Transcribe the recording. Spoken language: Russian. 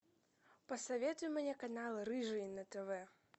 посоветуй мне канал рыжий на тв